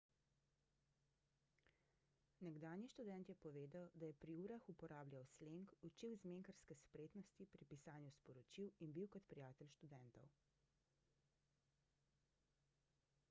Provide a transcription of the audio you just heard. nekdanji študent je povedal da je »pri urah uporabljal sleng učil zmenkarske spretnosti pri pisanju sporočil in bil kot prijatelj študentov«